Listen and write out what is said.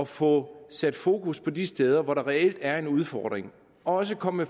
få sat fokus på de steder hvor der reelt er en udfordring og også komme